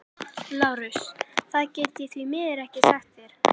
LÁRUS: Það get ég því miður ekki sagt þér.